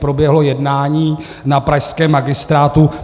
Proběhlo jednání na pražském magistrátu.